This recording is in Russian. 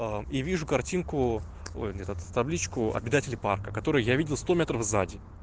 и вижу картинку ой этот табличку обитатели парка который я видел сто метров за день